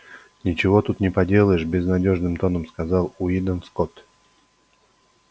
ничего тут не поделаешь безнадёжным тоном сказал уидон скотт